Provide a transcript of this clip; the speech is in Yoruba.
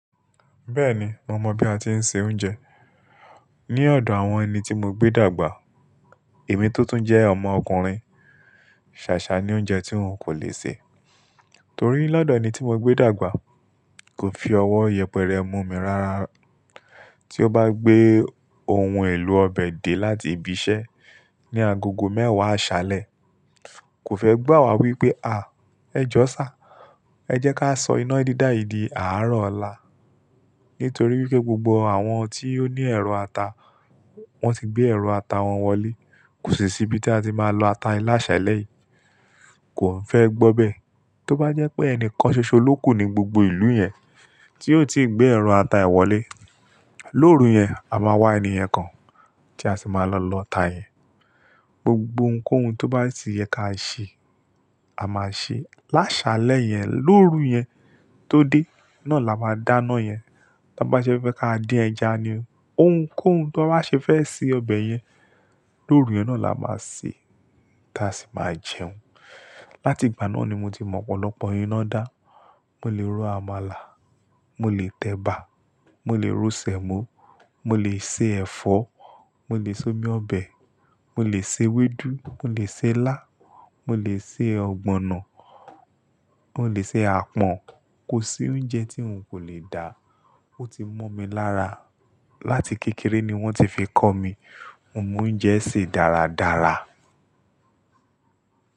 Bẹ́ẹ̀ni, mo mọ̀ bí a ti ń se oúnjẹ. Ni ọ̀dọ̀ àwọn ẹni tí mo gbé dàgbà. Èmi tótún jẹ́ ọmọ ọkùnrin, ṣàṣà ni oúnjẹ tí n kò lè sè. Torí lọ́dọ̀ ẹni tí mo gbé dàgbà kò fi ọwọ́ yẹpẹrẹ mú mi rára. Tí ó bá gbé ohun èlò ọbẹ̀ dé láti ibi iṣẹ́ ní agogo mẹ́wàá àṣálẹ́, kò fẹ́ gbà wá wípé, "à, ẹ jọ sá, ẹ jẹ́ ká sọ iná dídá yìí di àárọ̀ ọ̀la." Nítorí wípé gbogbo àwọn tí ó ní ẹ̀rọ ata, wón ti gbé ẹ̀rọ ata wọn wọlé. Kò sì síbí tí a ti máa lọ ata ní lásalẹ̀ yìí. Kò n fẹ́ gbo bee. Tó bá jẹ́ pé ẹnìkan ṣoṣo ló kù ní gbogbo ìlú yẹn, tí ó tii gbé ẹ̀rọ ata e wọlé, lóru yẹn, a máa wá ènìyẹn kan tí a sì máa lọ lọ'ta yẹn. Gbogbo ohun kohun tó bá ti yẹ káa ṣe, a máa ṣe. Lásálẹ́ yẹn lóru yẹn tó dé, naa là máa dáná yẹn. Tan bá ṣe fẹ́ ká dín ẹja ni, ohunkóhun ti wọ́n bá ṣe fẹ́ ṣe ọbẹ̀ yẹn lóru yẹn náà là máa ṣe, tí a sì máa jẹun. Láti ìgbà náà ni mo ti mọ ọ̀pọ̀lọpọ̀ iná dá. Mo lè ro àmàlà, mo lè tẹ̀bà, mo lè ro sẹ̀mọ́, mo lè se ẹ̀fọ́, mo lè somi ọbẹ̀, mo lè se ewédú, mo lè se ilá, mo lè se ọ̀gbọ̀nọ̀, mo lè ṣe àpọ̀n. Kò sí oúnjẹ tí n kò lè dà. Ó ti mọ́ mi lára. Láti kékeré ni wọ́n ti fi kọ́ mi. Mo mọ oúnjẹ sè dáradára.